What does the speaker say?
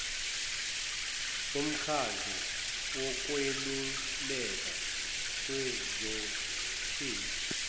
bomkhandlu wokweluleka kwezoshintsho